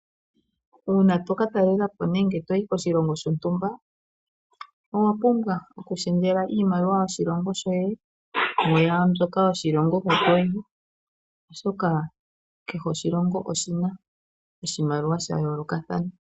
Uuna tokatalela po oshilongo shontumba owa pumbwa okushendjela iimaliwa yoshilongo shoye kwaambyo yoshilongo hoka toyi. Oshoka kehe oshilongo oshina oshimaliwa sha yoolokathana.